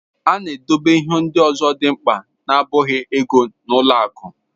A na-edobe ihe ndị ọzọ dị mkpa na-abụghị ego n'ụlọ akụ.